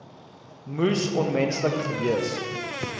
moes onmenslik gewees